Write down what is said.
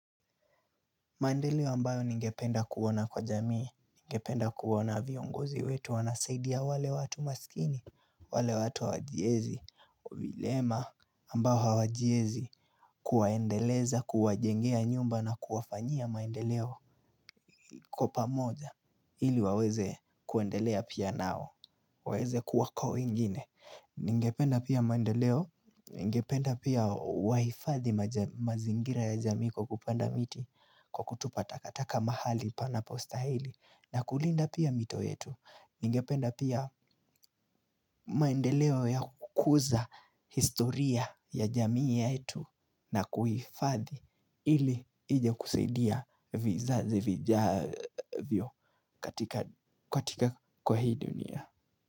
Mandeleo ambayo ningependa kuona kwa jamii, ningependa kuona viongozi wetu, wanasaidia wale watu masikini, wale watu wajiezi, uvilema ambayo wajiezi kuwaendeleza, kuwa jengea nyumba na kuwafanyia maendeleo. Kwa pamoja ili waweze kuendelea pia nao waweze kuwako ingine Ningependa pia mandeleo ningependa pia wahifadhi mazingira ya jamii kukupanda miti kwa kutupa takataka mahali piano stahili na kulinda pia mito yetu ningependa pia mandeleo ya kukuza historia ya jamii yetu na kuhifadhi ili ije kusaidia vizazi vijavyo katika kwa hii dunia.